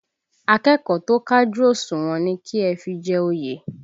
Akẹ́kọ̀ọ́ tó kájú òṣùwọ̀n ni kí ẹ fi jẹ oyè!